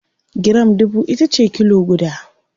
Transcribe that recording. giram dubu itace kilo guda